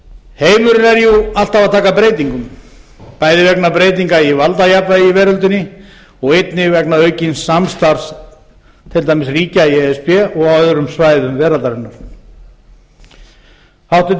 er jú alltaf að taka breytingum bæði vegna breytinga í valdajafnvægi í veröldinni og einnig vegna aukins samstarfs til dæmis ríkja í e s b og á öðrum